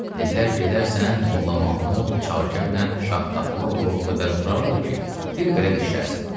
Dedilər: Gedərsən, Molla Mahmud Çakərlə Şaxdağlıoğlu o qədər vurarlar ki, bir belə də şişərsən.